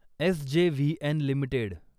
SJVN limited